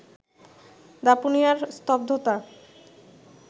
দাপুনিয়ার স্তব্ধতা